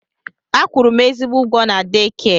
A kwụrụ m ezigbo ụgwọ na deekia.